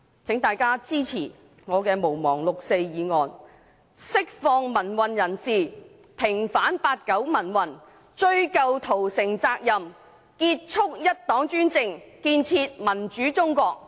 請大家支持我提出"毋忘六四"的議案，釋放民運人士，平反八九民運，追究屠城責任，結束一黨專政，建設民主中國。